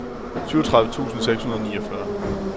syvogtredive tusind seks hundrede og niogfyrre